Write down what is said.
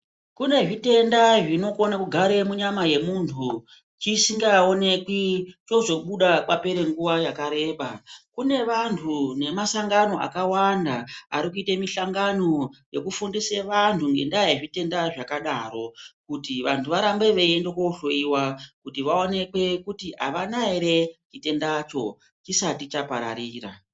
Kune zvitenda zvinokona kugare munyama yemuntu chisingaonekwi. Chozobuda papers nguva yakareba. Kune vantu nemasangano akawanda Ari kuita mihlangano yekufundusa vantu ngendaa yezvitenda zvakadaro kuti antu arambe veienda kohloyiwa kuti vaonekwe kuti avana ere chitendacho chisati chapararira.